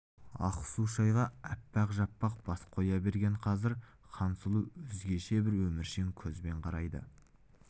ақ су шайға апақ-жапақ бас қоя берген қазір хансұлу өзгеше бір өміршең көзбен қарайды